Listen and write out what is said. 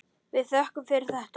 Við þökkum fyrir þetta.